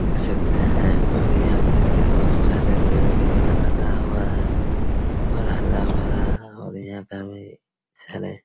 देख सकते हैं और यहाँ पे भी बहोत सारे पेड़-वगेरा लगा हुआ हैं और हरा-भरा और यहाँ पर सारे